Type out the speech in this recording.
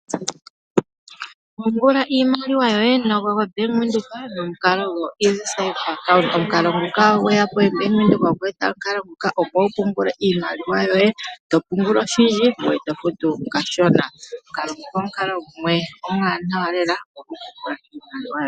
Pungula iimaliwa yoye nombaanga yoBank Windhoek, nomukalo gwo easy self account. Bank Windhoek okwe eta imukalo nguka opo wu pungule iimaliwa, yoye, to pungula oshindji ngweye to futu kashona.